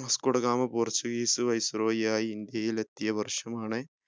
Vasco da Gama portuguese viceroy യായി ഇന്ത്യയിൽ എത്തിയ വർഷമാണ്